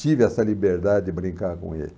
Tive essa liberdade de brincar com ele.